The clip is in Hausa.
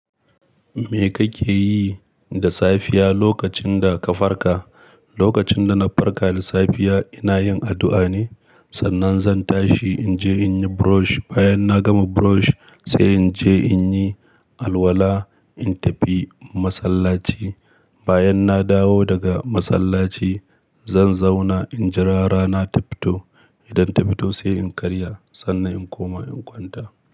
Me kake yi da safiya lokacin da ka farka? Lokacin da na farka da safiya, ina yin addu'a ne. Sannan zan tashi in je in yi brush. Bayan na gama brush sai in je in yi alwala, in tafi masallaci. Bayan na dawo daga masallaci, zan zauna in jira rana ta fito. Idan ta fito sai in karya, sannan in koma in kwanta.